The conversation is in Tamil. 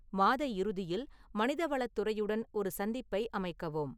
மாத இறுதியில் மனிதவளத் துறையுடன் ஒரு சந்திப்பை அமைக்கவும்